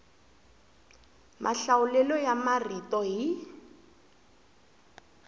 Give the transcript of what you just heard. mahlawulelo ya marito hi